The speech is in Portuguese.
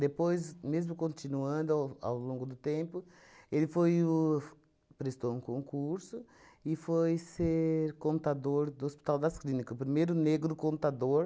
mesmo continuando ao ao longo do tempo, ele foi o f prestou um concurso e foi ser contador do Hospital das Clínicas, o primeiro negro contador